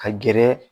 Ka gɛrɛ